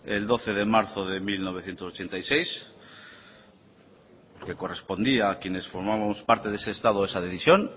el doce de marzo de mil novecientos ochenta y seis que correspondía a quienes formábamos parte de ese estado esa decisión